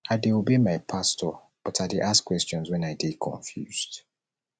i dey obey my pastor but i dey ask questions wen i dey confused